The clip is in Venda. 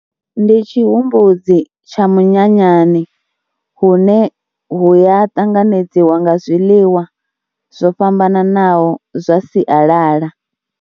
Ndi tshihumbudzi tsha munyanyani hune hu ya ṱanganedziwa nga zwiḽiwa zwo fhambananaho zwa sialala.